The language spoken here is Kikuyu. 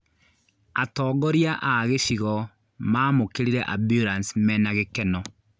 Atongoria a gĩcigo mamũkĩrire ambulanĩcĩ mena gĩkeno